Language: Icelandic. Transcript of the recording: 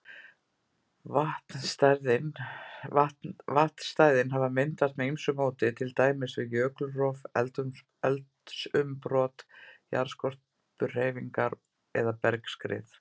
Vatnsstæðin hafa myndast með ýmsu móti, til dæmis við jökulrof, eldsumbrot, jarðskorpuhreyfingar eða bergskrið.